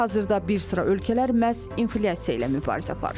Hazırda bir sıra ölkələr məhz inflyasiya ilə mübarizə aparır.